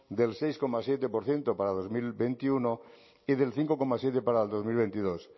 del seis coma siete por ciento para dos mil veintiuno y del cinco coma siete para el dos mil veintidós